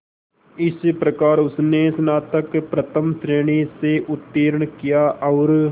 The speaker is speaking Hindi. इस प्रकार उसने स्नातक प्रथम श्रेणी से उत्तीर्ण किया और